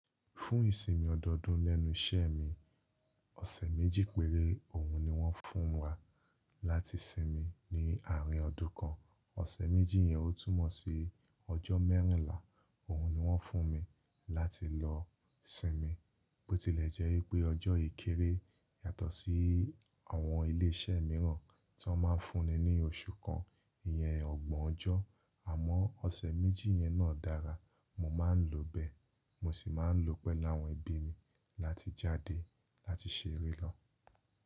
Fún ìsinmi ọdọọdún lẹ́nu iṣẹ́ mi, ọ̀sẹ̀ méjì péré òun ni wọ́n fún wa láti sinmi ní àárín ọdún kan. Ọ̀sẹ̀ méjì yẹn ó túmọ̀ sí ọjọ́ mẹ́rìnlá, òun ni wọ́n fún mi láti lọ sinmi. Ó tilẹ̀ jẹ́ wípẹ́ ọjọ́ yìí kéré yàtọ̀ sí àwọn ilé iṣẹ́ mìíràn tí wọ́n máa ń fún ni ní oṣù kan iyen ọgbọ̀n ọjọ́. Àmọ́ ọ̀sẹ̀ méjì yẹn náà dára, mo máa ń lò bẹ́ẹ̀, mo sì máa ń lọ pẹ̀lú àwọn ẹbí mi láti jáde láti ṣeré lọ.